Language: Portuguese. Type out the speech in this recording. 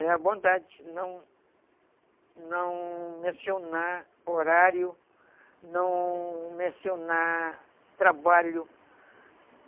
É a bondade, não não mencionar horário, não mencionar trabalho.